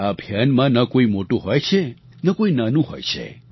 આ અભિયાનમાં ન કોઈ મોટું હોય છે ન કોઈ નાનું હોય છે